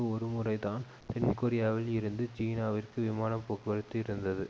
ஒரு முறைதான் தென்கொரியாவில் இருந்து சீனாவிற்கு விமான போக்குவரத்து இருந்தது